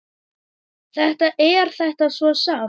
Þetta er þetta svo sárt!